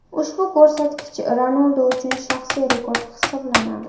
Ushbu ko‘rsatkich Ronaldu uchun shaxsiy rekord hisoblanadi.